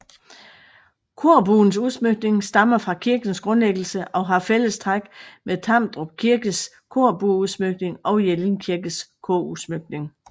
Korbuens udsmykning stammer fra kirkens grundlæggelse og har fælles træk med Tamdrup Kirkes korbueudsmykning og Jelling Kirkes korudsmykning